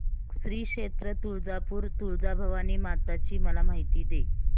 श्री क्षेत्र तुळजापूर तुळजाभवानी माता ची मला माहिती दे